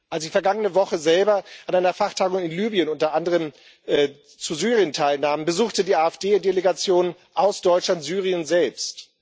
Als ich vergangene Woche selber an einer Fachtagung in Libyen unter anderem zu Syrien teilnahm, besuchte die AfD Delegation aus Deutschland Syrien selbst.